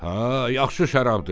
"Hə, yaxşı şərabdır.